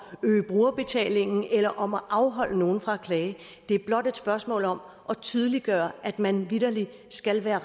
øge brugerbetalingen eller om at afholde nogen fra at klage det er blot et spørgsmål om at tydeliggøre at man vitterlig skal være